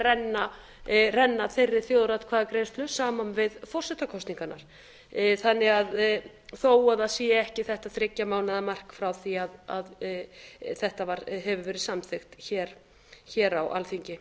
hægt að renna þeirri þjóðaratkvæðagreiðslu saman við forsetakosningarnar þó að það sé ekki þetta þriggja mánaða mark frá því að þetta hefur verið samþykkt hér á alþingi